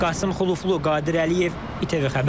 Qasım Xuluflu, Qadir Əliyev, ATV xəbər.